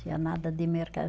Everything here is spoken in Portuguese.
Tinha nada de mercado.